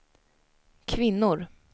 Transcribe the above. kvinnor